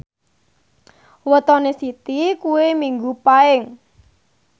wetone Siti kuwi Minggu Paing